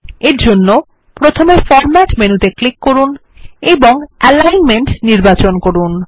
এরজন্য প্রথমে format menu ত়ে ক্লিক করুন এবং অ্যালিগ্নমেন্ট নির্বাচন করুন